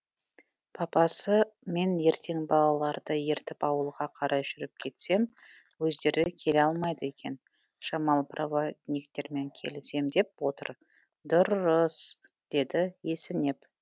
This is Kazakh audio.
папасы мен ертең балаларды ертіп ауылға қарай жүріп кетсем өздері келе алмайды екен жамал проводниктермен келісем деп отыр дұр ры ыс деді есінеп